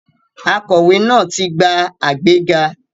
Akọ̀wé náà ti gba àgbéga.